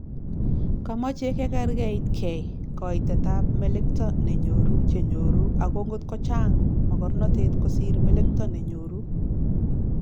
Komochei kekerkeitkei koitetab melekto ne nyoru chenyoru ago ngotko Chang mogornotet kosir melekto ne nyoru